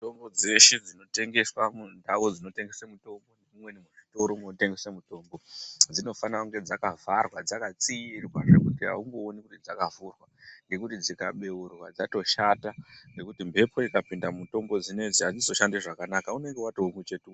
Mitombo dzeshe dzinotengeswa mundau dzinotengese mitombo, mumweni muzvitoro munotengese mitombo dzinofana kunge dzakavharwa, dzakatsiirwa zvekuti haumbooni kuti dzakavhurwa, ngekuti dzikabeurwa dzatoshata nekuti mbepo ikapinda mumutombo dzinedzi hadzizoshandi zvakanaka, unenge watoo muchetura.